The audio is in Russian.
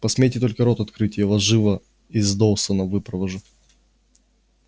посмейте только рот открыть я вас живо из доусона выпровожу